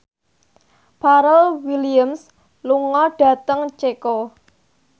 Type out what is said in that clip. Pharrell Williams lunga dhateng Ceko